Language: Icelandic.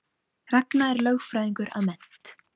Ragna er lögfræðingur að mennt